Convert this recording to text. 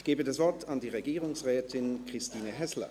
Ich gebe das Wort der Regierungsrätin Christine Häsler.